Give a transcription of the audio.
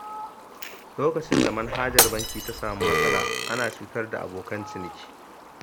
Lokacin da manhajar banki ta samu matsala, ana cutar da abokan ciniki.